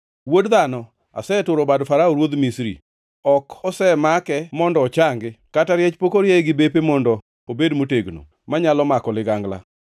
“Wuod dhano, aseturo bad Farao ruodh Misri. Ok osemake mondo ochangi, kata riech pok orieye gi bepe mondo obed motegno, manyalo mako ligangla.